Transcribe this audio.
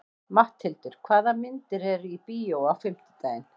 Matthildur, hvaða myndir eru í bíó á fimmtudaginn?